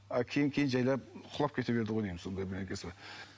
а кейін кейін жайлап құлап кете берді ғой деймін сондай бірдеңесі бар